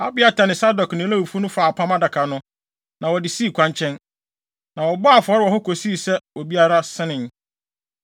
Abiatar ne Sadok ne Lewifo no faa Apam Adaka no, na wɔde sii kwankyɛn. Na wɔbɔɔ afɔre wɔ hɔ kosii sɛ obiara senee.